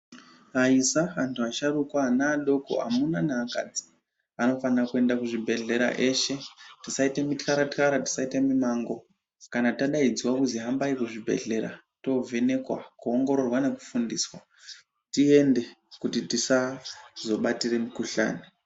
Aida antu asharukwa ana adoko arume neakadzi anofanire kuende kuzvibhedhlera eshe kuti tisaite mukarakara tisaite mumango kana tadaidzwa kunzi hambai kuzvibhedhlera tovhenekwa kuongororwa nekufundiswa tiemde kuti tisazobatira mukuhlani.